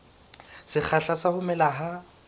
sekgahla sa ho mela ha